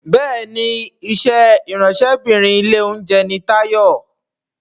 Béèni iṣé Ìráńṣẹ́bìnrin ilé-oúnjẹ ní Tayo.